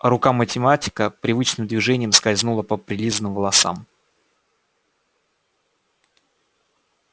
рука математика привычным движением скользнула по прилизанным волосам